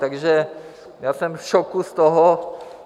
Takže já jsem v šoku z toho...